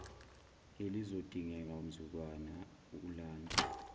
elizodingeka mzukwana ulanda